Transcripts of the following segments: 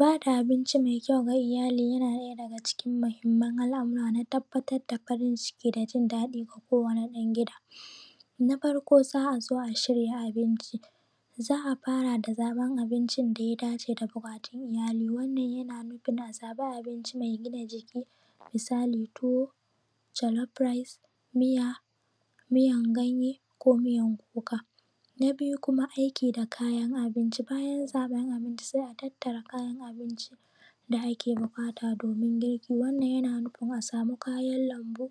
Ba da abinci mai kyau ga iyali yana ɗaya daga cikin muhimman al’amura na tabbatar da farin ciki da jin daɗi ga kowane ɗan gida. Na farko za a zo a shirya abinci za a fara da zaɓan abincin da ya dace da buƙatun iyali wannan yana nufin a zaba abinci mai gina jiki misali tuwo, jolof rice, miya miyar ganye ko miyar kuka. Na biyu kuma aiki da kayan abinci bayan zaɓan abinci sai a tattara kayan abincin da ake buƙata domin girki, wannan yana nufin a samu kayan lambu,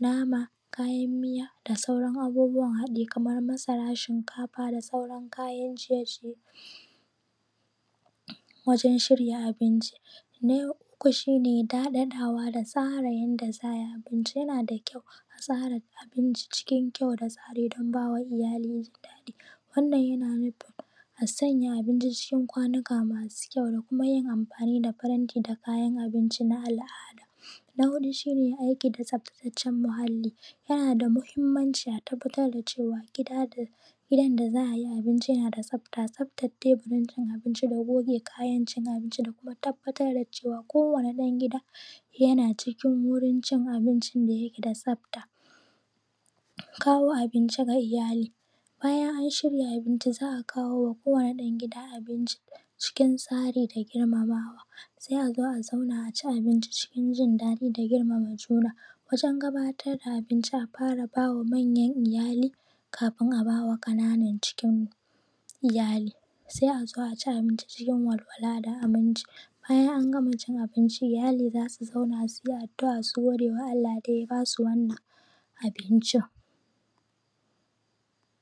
nama, kayan miya da sauran abubbuwan haɗi, kamar masara, shinkafa da sauran kayan ciye ciye wajen shirya abinci. Na uku shi ne dadadawa da tsara yadda za ai abinci yana da kyau a tsara abinci cikin kyau da tsari don ba ma iyali jin daɗi. Wannan yana nufin a sanya abinci cikin kwanuka masu kyau da kuma yin amfani da faranti da kayan abinci na al’ada. Na huɗu shine aiki da tsaftacacciyar muhalli yana da muhimmanci a tabbatar da cewa gidan da za ayi abinci yana da tsafta. Tsaftan teburin cin abinci da goge kayan cin abinci da kuma tabbatar da cewa kowane ɗan gida yana cikin wurin cin abincin da yake da tsafta. Kawo abinci ga iyali bayan an shirya abinci, za a kawo ma kowane ɗan gida abinci a cikin tsari da girmamawa sai a zo a zauna a ci abinci cikin jindadi da girmama juna. Wajen gabatar da abinci a fara ba wa manyan iyali kafin a ba wa ƙananan cikin iyali, sai a zo a ci abinci cikin walwala da aminci bayan an gama cin abinci iyali za su zo su zauna a yi addu’a su gode ma Allah da ya basu wannnan abincin